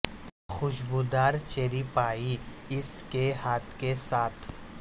خوشبودار cherry pie اس کے ہاتھ کے ساتھ